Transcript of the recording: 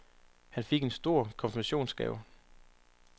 Han fik en stor konfirmationsgave.